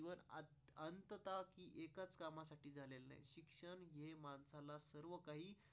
काही काही.